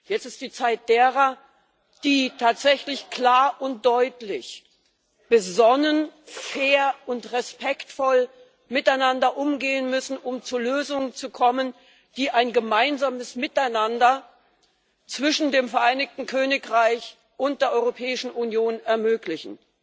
Jetzt ist die Zeit derer, die tatsächlich klar und deutlich, besonnen, fair und respektvoll miteinander umgehen müssen, um zu Lösungen zu kommen, die ein gemeinsames Miteinander zwischen dem Vereinigten Königreich und der Europäischen Union ermöglichen.